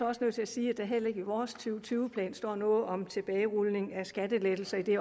også nødt til at sige at der heller ikke i vores to tyve plan står noget om tilbagerulning af skattelettelser i